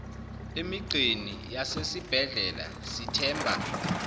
emigqeni yasezibhedlela sithemba